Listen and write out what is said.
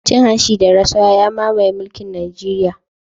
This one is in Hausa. Cin hanci da rashawa ya mamaye mulkin najeriya